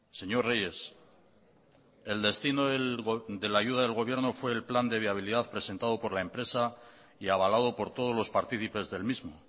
señor reyes el destino de la ayuda del gobierno fue el plan de viabilidad presentado por la empresa y avalado por todos los partícipes del mismo